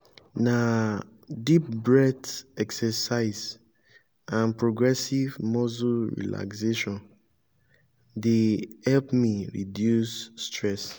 na deep breath exercise and progressive muscle relaxation dey help me reduce stress.